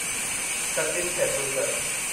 Sachin Tendulkar